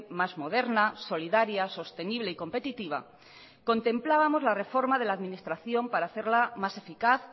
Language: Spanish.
más moderna solidaria sostenible y competitiva contemplábamos la reforma de la administración para hacerla más eficaz